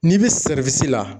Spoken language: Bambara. N'i bɛ la